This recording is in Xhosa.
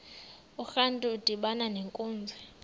urantu udibana nenkunzi